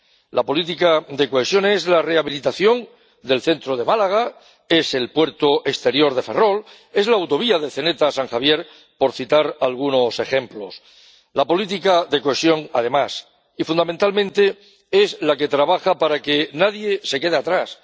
La política de cohesión es la rehabilitación del centro de Málaga, es el puerto exterior de Ferrol, es la autovía de Zeneta San Javier, por citar algunos ejemplos. La política de cohesión, además y fundamentalmente, es la que trabaja para que nadie se quede atrás.